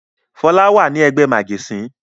Fọlá wà ní ẹgbẹ́ màjẹ̀sín.